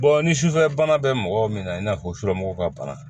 ni sufɛ bana bɛ mɔgɔ min na i n'a fɔ sufɛmɔgɔw ka bana